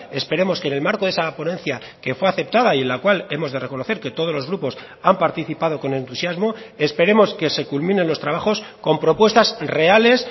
esperemos que en el marco de esa ponencia que fue aceptada y en la cual hemos de reconocer que todos los grupos han participado con entusiasmo esperemos que se culminen los trabajos con propuestas reales